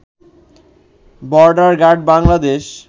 border guard Bangladesh